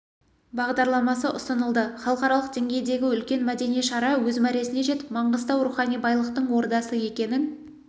бағдарламасы ұсынылды халықаралық деңгейдегі үлкен мәдени шара өз мәресіне жетіп маңғыстау рухани байлықтың ордасы екенін